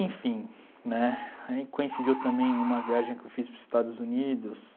Enfim, né, aí coincidiu também uma viagem que eu fiz para os Estados Unidos.